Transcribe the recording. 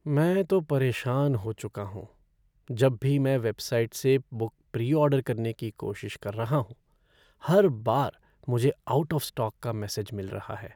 मैं तो परेशान हो चुका हूँ, जब भी मैं वेबसाइट से बुक प्री ऑर्डर करने की कोशिश कर रहा हूँ, हर बार मुझे आउट ऑफ़ स्टॉक का मैसेज मिल रहा है।